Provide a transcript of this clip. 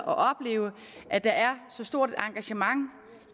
opleve at der er så stort et engagement